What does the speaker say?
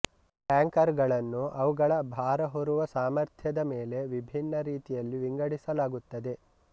tanker ಗಳನ್ನು ಅವುಗಳ ಭಾರ ಹೊರುವ ಸಾಮರ್ಥ್ಯದ ಮೇಲೆ ವಿಭಿನ್ನ ರೀತಿಯಲ್ಲಿ ವಿಂಗಡಿಸಲಾಗುತ್ತದೆ